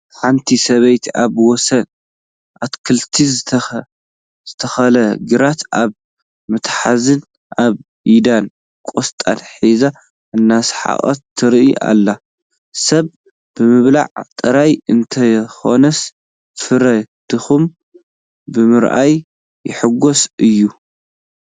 ሓንቲ ሰበይቲ ኣብ ወሰን ኣትክልቲ ዝተተኸለ ግራት ኣብ መትሐዝን ኣብ ኢዳን ቆስጣ ሒዛ እናሰሓቐት ትርአ ኣላ፡፡ ሰብ ብምብላዕ ጥራይ እንተይኮነስ ፍረ ድኻሙ ብምርኣዩን ይሕጐስ እዩ፡፡